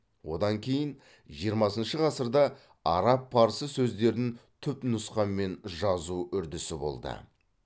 одан кейін жиырмасыншы ғасырда араб парсы сөздерін түпнұсқамен жазу үрдісі болды